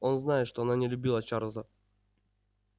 он знает что она не любила чарлза